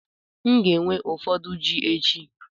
M ga-ewe ụfọdụ ji echi.